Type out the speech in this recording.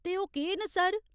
ते ओह् केह् न सर ?